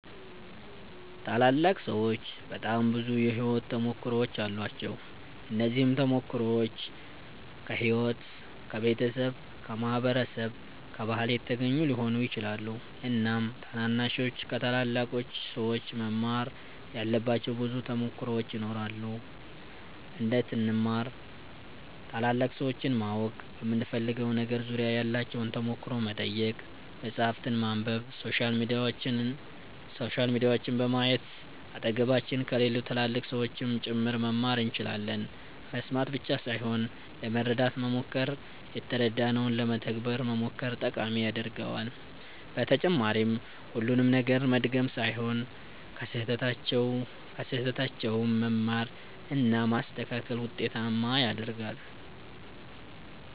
ታላላቅ ሠዎች በጣም ብዙ የሕይወት ተሞክሮዎች አሏቸው። እነዚህም ተሞክሮዎች ከሕይወት፣ ከቤተሰብ፣ ከማህበረሰብ፣ ከባህል የተገኙ ሊሆኑ ይችላሉ። እናም ታናናሾች ከታላላቅ ሠዎች መማር ያለባቸው ብዙ ተሞክሮዎች ይኖራሉ። እንዴት እንማር ?ታላላቅ ሠዎችን ማወቅ በምንፈልገው ነገር ዙሪያ ያላቸውን ተሞክሮ መጠየቅ፣ መፃህፍትን ማንበብ፣ ሶሻል ሚዲያዎችን በማየት አጠገባችን ከሌሉ ትላልቅ ሠዎችም ጭምር መማር እንችላለን መስማት ብቻ ሣይሆን ለመረዳት መሞከር የተረዳነውን ለመተግበር መሞከር ጠቃሚ ያደርገዋል በተጨማሪም ሁሉንም ነገር መድገም ሣይሆን ከሥህተታቸውም መማር እና ማስተካከል ውጤታማ ያደርጋል።